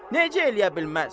Necə eləyə bilməz?